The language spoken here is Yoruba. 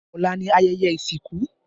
Ọ̀la ni ayẹyẹ ìsìnkú